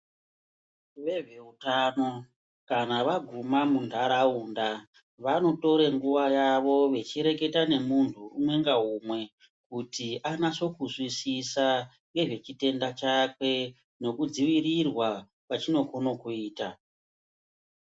Vazveutano kana vaguma mundaraunda vanotore nguva yavo vechireketa nemuntu umwe ngaumwe kuti anasokuzwisisa ngezvechitenda chake nekudzivirirwa kwachinokone kuita.